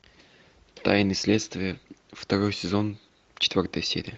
тайны следствия второй сезон четвертая серия